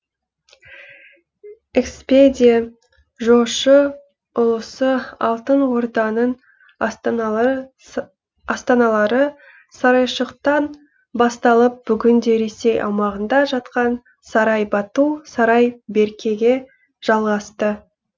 экспедия жошы ұлысы алтын орданың астаналары сарайшықтан басталып бүгінде ресей аумағында жатқан сарай бату сарай беркеге жалғасты